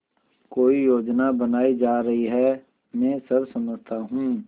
कोई योजना बनाई जा रही है मैं सब समझता हूँ